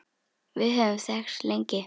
Við höfum þekkst lengi.